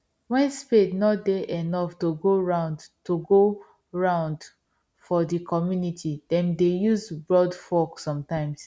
when spade nor dey enough to go round to go round for the community them dey use broadfork sometimes